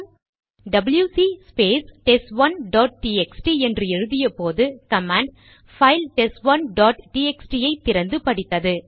WC space test 1டாட் TXT என்று எழுதியபோது கமாண்ட் பைல் டெஸ்ட் 1டாட் டிஎக்ஸ்டி ஐ திறந்து படித்தது